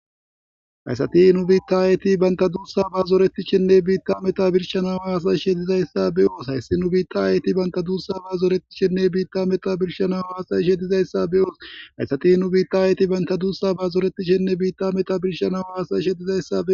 hayssati nu biitta ayeeti banta duussa baazoretishshinne biitta meta birshanawa hasazishe dizayssa be oos hayssi nu biitta aeti banta duussa baazoretishshinne biitta meta birshanawe hasayishe dizayssa be ooshayssati nu biitta ayeti banta duussa baazoretishinne biitta meta birshanawa hasayishe dizayssa